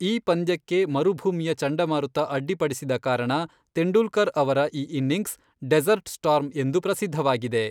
ಈ ಪಂದ್ಯಕ್ಕೆ ಮರುಭೂಮಿಯ ಚಂಡಮಾರುತ ಅಡ್ಡಿಪಡಿಸಿದ ಕಾರಣ ತೆಂಡೂಲ್ಕರ್ ಅವರ ಈ ಇನ್ನಿಂಗ್ಸ್ 'ಡೆಸರ್ಟ್ ಸ್ಟಾರ್ಮ್' ಎಂದು ಪ್ರಸಿದ್ಧವಾಗಿದೆ.